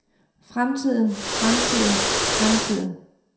fremtiden fremtiden fremtiden